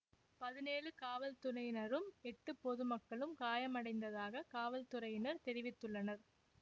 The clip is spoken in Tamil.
பதினேழு காவல்துறையினரும் எட்டு பொது மக்களும் காயமடைந்ததாக காவல்துறையினர் தெரிவித்துள்ளனர்